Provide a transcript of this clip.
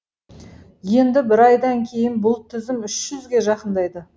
енді бір айдан кейін бұл тізім үш жүзге жақындайды